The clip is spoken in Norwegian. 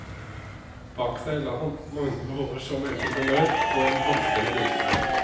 Bak seg la han mange år som entreprenør og en blomstrende virksomhet.